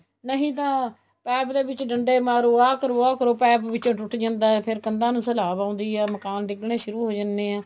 ਨਹੀਂ ਤਾਂ ਪੈਪ ਦੇ ਵਿੱਚ ਡੰਡੇ ਮਾਰੋ ਆ ਕਰੋ ਆ ਕਰੋ ਪੈਪ ਵਿੱਚ ਟੁੱਟ ਜਾਂਦਾ ਹੈ ਫ਼ੇਰ ਕੰਧਾ ਨੂੰ ਸਿਲਾਬ ਆਉਦੀ ਹੈ ਮਕਾਨ ਡਿੱਗਣੇ ਸ਼ੁਰੂ ਹੋ ਜਾਂਦੇ ਆ